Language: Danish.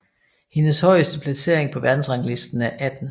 Hendes højeste placering på verdensrangslisten er 18